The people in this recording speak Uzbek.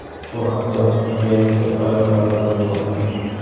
Bu haqda Vanity Fair xabar bermoqda .